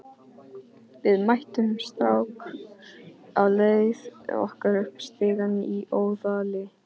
Við mættum strák á leið okkar upp stigann í Óðali.